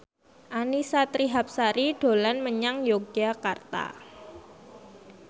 Annisa Trihapsari dolan menyang Yogyakarta